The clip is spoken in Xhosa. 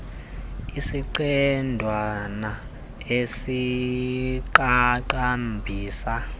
isiqendwana es iqaqambisa